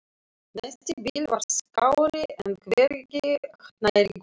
Næsti bíll var skárri en hvergi nærri góður.